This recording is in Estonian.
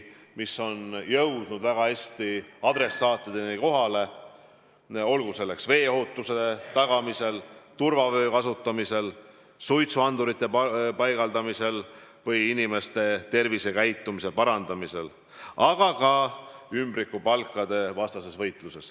Need on jõudnud väga hästi adressaatideni, olgu need kampaaniad veega seotud ohutuse tagamiseks, turvavöö ja suitsuandurite enamaks kasutamiseks või inimeste tervisekäitumise parandamiseks, samuti võitluseks ümbrikupalkade vastu.